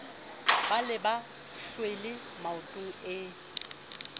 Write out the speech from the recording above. ba le mahlwele maotong e